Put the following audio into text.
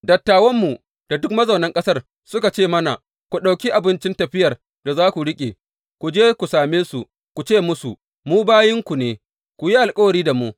Dattawanmu da duk mazaunan ƙasar, suka ce mana, Ku ɗauki abincin tafiyar da za ku riƙe; ku je ku same su ku ce musu, Mu bayinku ne, ku yi alkawari da mu.